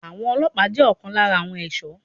Àwọn ọlọ́pàá jẹ́ ọ̀kan lára àwọn ẹ̀ṣọ́.